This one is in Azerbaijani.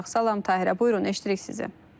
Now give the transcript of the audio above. Salam, Tahirə, buyurun, eşidirik sizi.